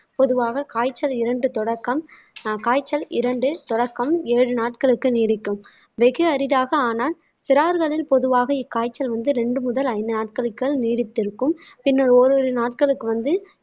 பொதுவாக காய்ச்சல் இரண்டு தொடக்கம் காய்ச்சல் இரண்டு தொடக்கம் ஏழு நாட்களுக்கு நீடிக்கும் வெகு அரிதாக ஆனால் சிறார்களில் பொதுவாக இக்காய்ச்சல் வந்து இரண்டு முதல் ஐந்து நாட்களுக்குள் நீடித்திருக்கும் பின்னர் ஓரிரு நாட்களுக்கு வந்து